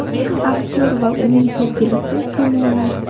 Aktyor va uning sevgilisi Simona.